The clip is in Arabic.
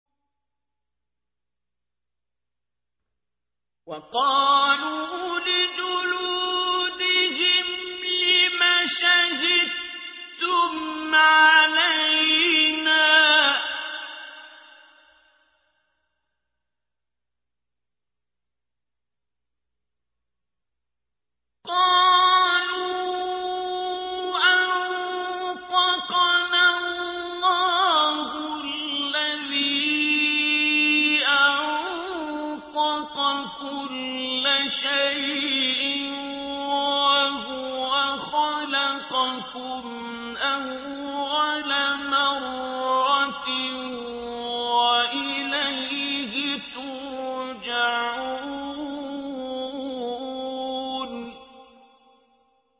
وَقَالُوا لِجُلُودِهِمْ لِمَ شَهِدتُّمْ عَلَيْنَا ۖ قَالُوا أَنطَقَنَا اللَّهُ الَّذِي أَنطَقَ كُلَّ شَيْءٍ وَهُوَ خَلَقَكُمْ أَوَّلَ مَرَّةٍ وَإِلَيْهِ تُرْجَعُونَ